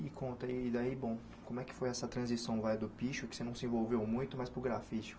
E conta aí, daí bom, como é que foi essa transição vai do piche, o que você não se envolveu muito, mas para o grafite?